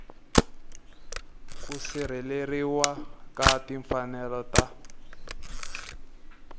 ku sirheleriwa ka timfanelo ta